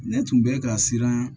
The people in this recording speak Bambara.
Ne tun bɛ ka siran